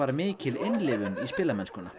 mikil innlifun í spilamennskunni